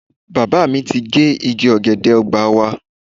Bàbá mi ti gé igi ọ̀gẹ̀dẹ̀ ọgbà wa.